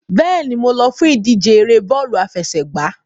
Bẹ́ẹ̀ni, mo lọ fún ìdíje ère bọ́ọ̀lù àfẹsẹ̀gbá.